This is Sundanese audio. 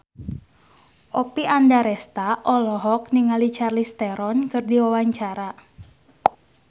Oppie Andaresta olohok ningali Charlize Theron keur diwawancara